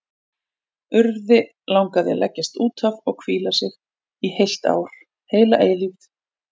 Urði langaði að leggjast út af og hvíla sig, í heilt ár, heila eilífð.